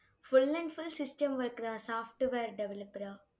full and full system work தா software developer ஆ